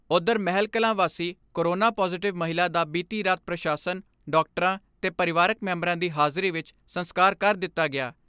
ਉਧਰ ਮਹਿਲਕਲਾਂ ਵਾਸੀ corona positive ਮਹਿਲਾ ਦਾ ਬੀਤੀ ਰਾਤ ਪ੍ਰਸ਼ਾਸ਼ਨ, ਡਾਕਟਰਾਂ ਤੇ ਪਰਿਵਾਰਕ ਮੈਂਬਰਾਂ ਦੀ ਹਾਜ਼ਰੀ ਵਿਚ ਸੰਸਕਾਰ ਕਰ ਦਿਤਾ ਗਿਆ।